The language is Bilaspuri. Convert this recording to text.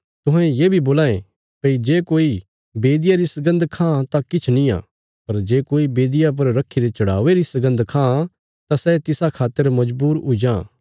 तुहें ये बी बोलां ये भई जे कोई बेदिया री सगन्द खां तां किछ निआं पर जे कोई बेदिया पर रखीरे चढ़ावे री सगन्द खां तां सै तिसा खातर मजबूर हुई जां